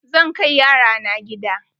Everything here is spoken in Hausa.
Zan kai yara na gida.